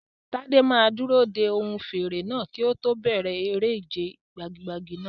Tade máa dúró de ohùn fèrè náà kí ó tó bẹ̀rẹ̀ eré ìje gbagi-gbagi náà.